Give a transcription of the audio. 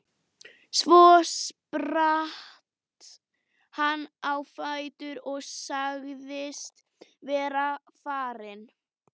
Svo spratt hann á fætur og sagðist vera farinn.